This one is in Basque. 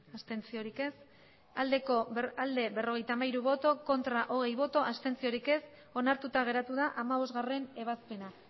abstentzioa berrogeita hamairu bai hogei ez onartuta geratu da hamabostgarrena ebazpena